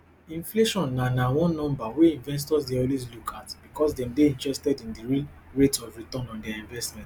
inflation na na one number wey investors dey always look at bicos dem dey interested in di real rate of return on dia investment